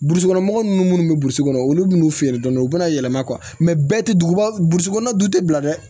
Burusi kɔnɔ mɔgɔ ninnu munnu bɛ burusi kɔnɔ olu bɛ n'u feere dɔɔnin u bɛna yɛlɛma bɛɛ tɛ dugubasɔgɔn tɛ bila dɛ